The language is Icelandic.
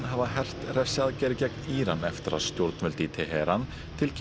hafa hert refsiaðgerðir gegn Íran eftir að stjórnvöld í Teheran tilkynntu